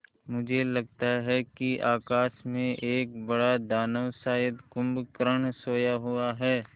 मुझे लगता है कि आकाश में एक बड़ा दानव शायद कुंभकर्ण सोया हुआ है